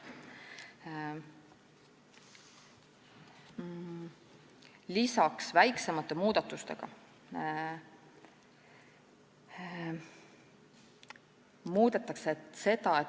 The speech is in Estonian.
Lisaks on väiksemad muudatused.